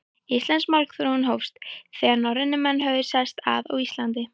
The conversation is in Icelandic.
Íslensk málþróun hófst, þegar norrænir menn höfðu sest að á Íslandi.